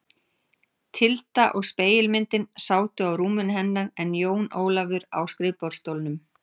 Tilda og spegilmyndin sátu á rúminu hennar en Jón Ólafur á skrifborðsstólnum.